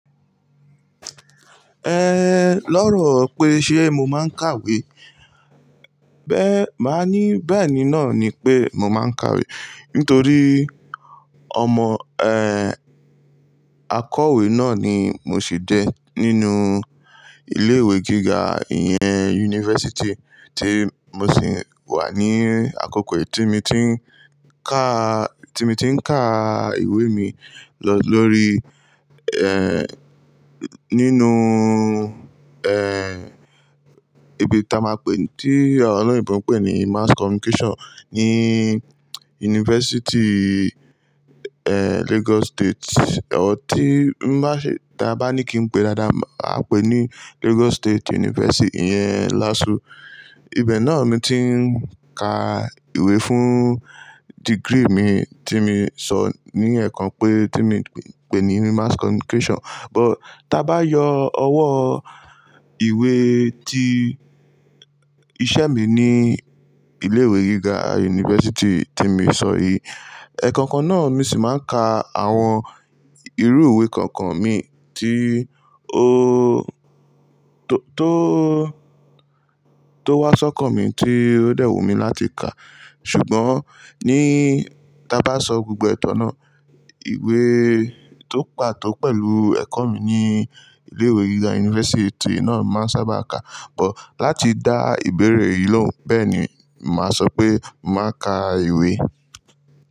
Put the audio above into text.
Eh, lọ́rọ̀ pé ṣé mo máa ń kàwé? Bẹ́ má ní, bẹ́ẹ̀ni náà ni pé mo máa ń kàwé. Nítorí ọmọ, eh, akọ̀wé náà ni mo sì jẹ́ nínú ilé ìwé gíga ìyẹn yunifásítì tí mo sì wà ní àkókò tí mo ti ń ká, tí mo ti ń ká ìwé mi lọ lórí, eh, nínú, eh, ibi tí a máa pè, tí oloyinbo n pè ní Mass Communication ní yunifásítì, eh, Lagos State. Ọ tí ń bá ṣe, tí a bá ní kí n pè dáadáa, a pè ní Lagos State University. Ìyẹn LASU. Ibẹ̀ náà ni mo ti ń ka ìwé fún degree mi tí mo sọ ní ẹ̀kan pé tí mo pè ní Mass Communication. But tí a bá yọ ọwọ́ ìwé tí iṣẹ́ mi ní ilé ìwé gíga yunifásítì tí mo sọ yìí, ẹ̀kan kan náà mo sì máa ń ka àwọn irú ìwé kankan mi tí ó tó, tó wá sọ́kan mi tí ó dẹ̀wú mi láti kà. Ṣùgbọ́n ní tí a bá sọ gbogbo e tàn náà, ìwé tó pàtó pẹ̀lú ẹ̀kọ́ mi ní ilé ìwé gíga yunifásítì náà màá sábà kà. But láti dá ìbéèrè yìí lóhùn, bẹ́ẹ̀ni, màá sọ pé mo màá kà ìwé.